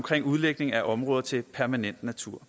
udlægning af områder til permanent natur